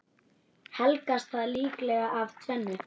Helgast það líklega af tvennu.